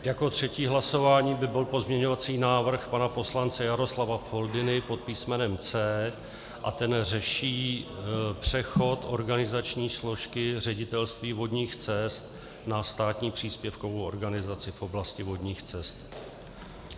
Jako třetí hlasování by byl pozměňovací návrh pana poslance Jaroslava Foldyny pod písmenem C a ten řeší přechod organizační složky Ředitelství vodních cest na státní příspěvkovou organizaci v oblasti vodních cest.